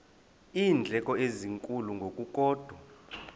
iindleko ezinkulu ngokukodwa